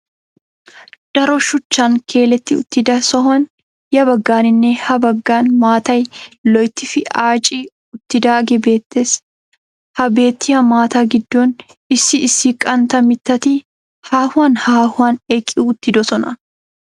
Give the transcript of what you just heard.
Daro shuchchan keeletti uttida sohuwan ya baggaaninne ha baggaani maatay loyttifi aaci uttidaagee beettees. Ha beettiya maataa giddon issi issi qantta mittati haauwan haahuwan eqqi uttidosona.